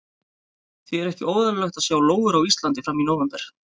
Því er ekki óeðlilegt að sjá lóur á Íslandi fram í nóvember.